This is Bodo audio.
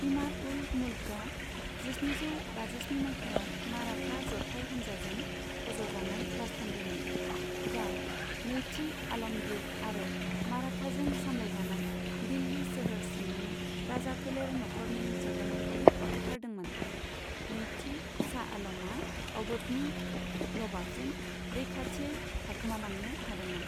इमाद उल मुल्कआ जिस्निजौ बाजिस्नि मायथाइयाव माराथा जथाइ हानजाजों फज'जानाय राजथान्दैमोन, जाय नैथि आल'मगिर आरो माराथाजों सामलायजानाय दिल्लि सोहोर सिंनि राजाफोलेर नखरनि सोद्रोमाखौ बुथारदोंमोन, नैथि शाह आलमआ अबधनि नवाबजों रैखाथियै खारखोमालांनो हादोंमोन।